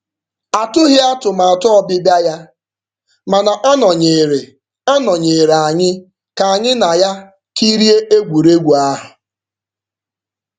Atụghị atụmatụ ọbịbịa ya, mana ọ nọnyeere ọ nọnyeere anyị ka anyị na ya kirie egwuregwu ahụ.